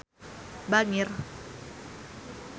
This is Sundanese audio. Irungna Maudy Ayunda bangir